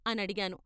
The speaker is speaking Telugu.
' అనడిగాను.